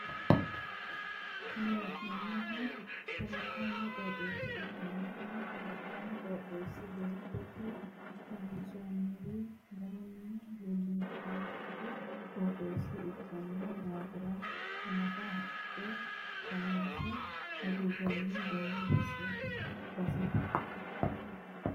Kuni la'neemohu kalaqonna qoxeessa ikkanna Kuni kalaqonna qoxeessi baattote kayinsoonnire garunni laashshannokki qoxeessa ikkino daafira anfi haqqe kaanse agurroonni baseeti.